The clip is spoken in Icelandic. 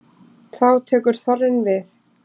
Þá tekur þorrinn við.